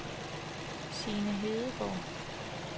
Signe Hedegaard